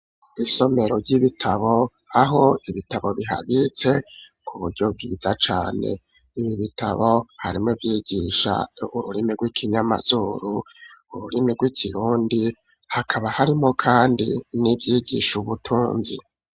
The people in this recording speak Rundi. Isomero ry'ibitabo, aho ibitabo bihabitse, ku buryo, bwiza cane, ibi bitabo, harimwo ivyigisha ururimi, rw'ikinyamazuru, ururimi rw'ikirundi, hakaba harimwo kandi, n'ivyigisha ubutunzi.